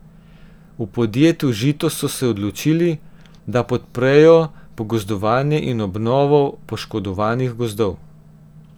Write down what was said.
V podjetju Žito so se odločili, da podprejo pogozdovanje in obnovo poškodovanih gozdov.